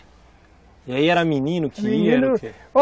E aí era menino que ia?